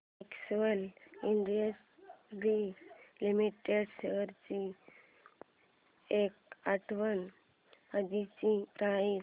Excel industries limited shares ची एक आठवड्या आधीची प्राइस